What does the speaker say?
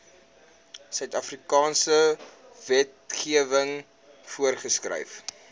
suidafrikaanse wetgewing voorgeskryf